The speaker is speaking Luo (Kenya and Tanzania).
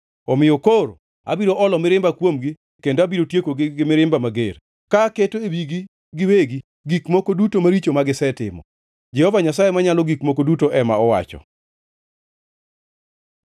Omiyo koro abiro olo mirimba kuomgi kendo abiro tiekogi gi mirimba mager, ka aketo e wigi giwegi gik moko duto maricho gisetimo, Jehova Nyasaye Manyalo Gik Moko Duto ema owacho.”